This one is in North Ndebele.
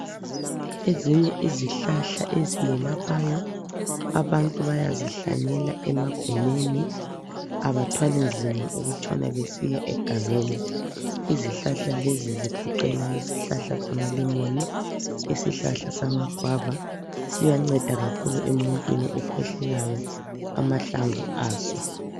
Ezinye izihlahla eziyelaphayo abantu bayazihlanyela emagumeni abathwali nzima ukutshona besiya egangeni, izihlahla lezi zigoqela izihlahla zamalemoni , isihlahla samagwava ,siyanceda kakhulu emuntwini okhwehlelayo amahlamvu aso.